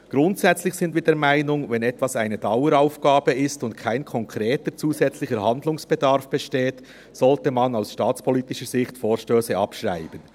Grundsätzlich sind wir der Meinung, wenn etwas eine Daueraufgabe ist und ein konkreter zusätzlicher Handlungsbedarf besteht, sollte man Vorstösse aus staatspolitischer Sicht abschreiben.